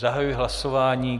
Zahajuji hlasování.